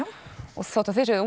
og þó þið séuð